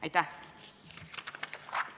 Aitäh!